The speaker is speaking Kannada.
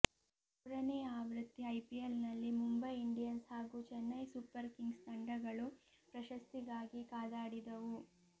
ಮೂರನೇ ಆವೃತ್ತಿ ಐಪಿಎಲ್ನಲ್ಲಿ ಮುಂಬೈ ಇಂಡಿಯನ್ಸ್ ಹಾಗೂ ಚೆನ್ನೈ ಸೂಪರ್ ಕಿಂಗ್ಸ್ ತಂಡಗಳು ಪ್ರಶಸ್ತಿಗಾಗಿ ಕಾದಾಡಿದವು